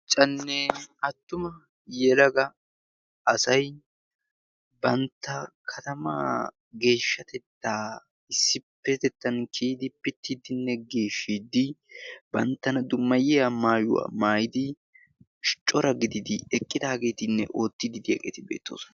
cannee attuma yelaga asai bantta katamaa geeshshatettaa issippetettan kiyidi pittiiddinne geeshshiiddi banttana dummayiya maayuwaa maayidi scora gididi eqqidaageetinne oottiddidi eqeti beettoosna